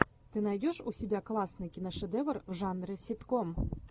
ты найдешь у себя классный киношедевр в жанре ситком